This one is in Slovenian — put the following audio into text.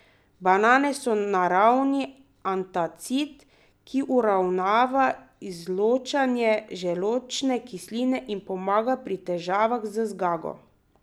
Banane so naravni antacid, ki uravnava izločanje želodčne kisline in pomaga pri težavah z zgago.